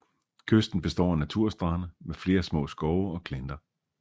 Kysten består af naturstrande med flere små skove og klinter